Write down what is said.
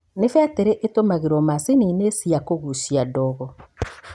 Nĩ betiri ĩtũmiragwo maciniĩnĩ cia kũgucia ndogo.